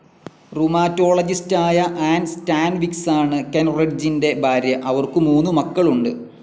റുമാറ്റോളജിസ്റ്റായ Ann സ്റ്റാൻവിക്‌സാണ് കെൻറിഡ്ജിൻ്റെ ഭാര്യ. അവർക്കു മൂന്നു മക്കളുണ്ട്.